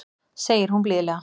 segir hún blíðlega.